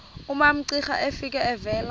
umamcira efika evela